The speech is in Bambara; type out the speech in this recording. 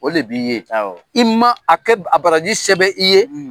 O le b'i ye, i ma a kɛ a baraji se bɛ i ye.